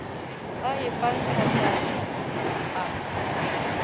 a e fa ntlatalna a